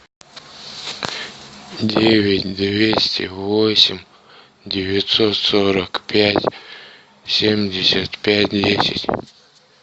девять двести восемь девятьсот сорок пять семьдесят пять десять